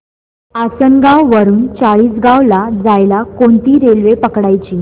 आसनगाव वरून चाळीसगाव ला जायला कोणती रेल्वे पकडायची